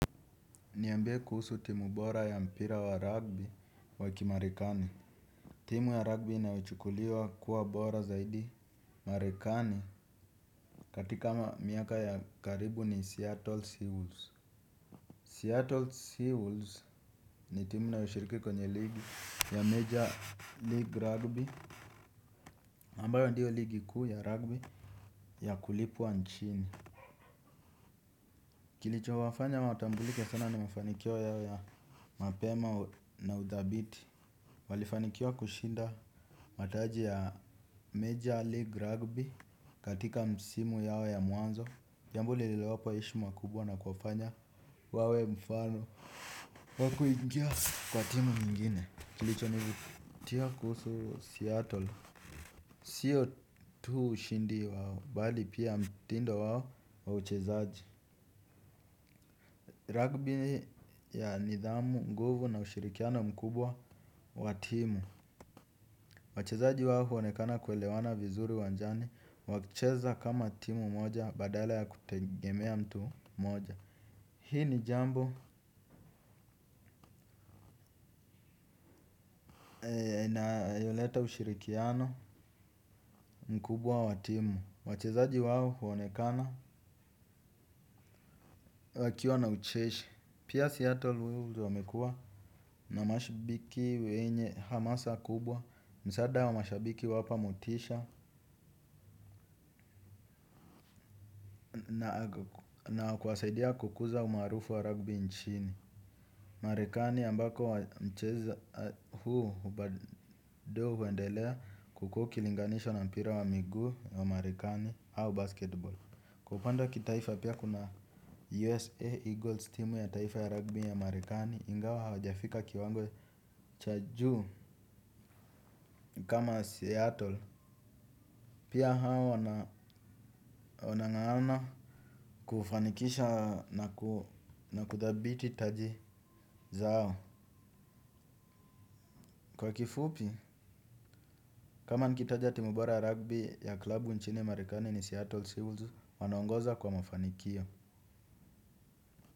Niambie kuhusu timu bora ya mpira wa rugby wakimarikani. Timu ya rugby inayochukuliwa kuwa bora zaidi marekani katika miaka ya karibu ni Seattle Seawals Seattle Seawals ni timu inayo shiriki kwenye ligi ya major league rugby ambayo ndiyo ligi kiu ya rugby ya kulipwa nchini. Kilicho wafanya watambulike sana nimafanikio yao mapema na udhabiti. Walifanikiwa kushinda mataji ya Major League Rugby katika msimu yao ya mwanzo jambo lililowapa heshima kubwa na kuwafanya wawe mfano wakuingia kwa timu nyingine kilicho nivutia kuhusu Seattle sio tu ushindi wao bali pia mtindo wao wa uchezaji. Rugby ya nidhamu nguvu na ushirikiano mkubwa wa timu. Wachezaji wao huonekana kuelewana vizuri uwanjani, wakicheza kama timu moja badala ya kutegemea mtu moja. Hii ni jambo na yoleta ushirikiano mkubwa wa timu. Wachezaji wao huonekana wakiwa na ucheshi. Pia Seattle Wuls wamekua na mashabiki wenye hamasa kubwa, msaada wa mashabiki huwapa motisha na kuwasaidia kukuza umaarufu wa ragbi nchini Marekani ambako wa mcheza huu ubado huendelea kukua ukilinganisha na mpira wa miguu wa marekani au basketball. Kwa upande wa kitaifa pia kuna USA Eagles team ya taifa ya rugby ya marikani ingawa hawajafika kiwango cha juu kama Seattle. Pia hawa wana ngangana kufanikisha na kuthabiti taji zao. Kwa kifupi, kama nikitaja timu bora rugby ya klabu nchini marekani ni Seattle Seals, wanaongoza kwa mafanikio.